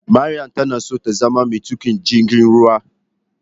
Maryam tanaso tazama metukin jirgin ruwa.